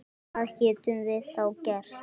Hvað getum við þá gert?